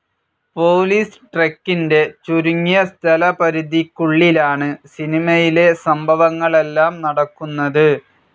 Police ട്രക്കിന്റെ ചുരുങ്ങിയ സ്ഥലപരിധിയ്ക്കുള്ളിലാണ് സിനിമയിലെ സംഭവങ്ങളെല്ലാം നടക്കുന്നത്.